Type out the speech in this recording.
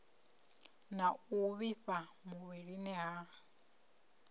na u vhifha muvhilini ha